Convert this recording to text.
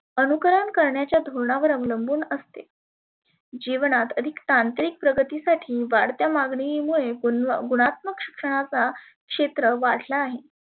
अनुकरन करण्याच्या धोरणावर अवलंबुन असते. जिवनात आणि तांत्रीक प्रगतीसाठी वाढत्या मागनी मुळे गुणात्मक शिक्षणाचा क्षेत्र वाढला आहे.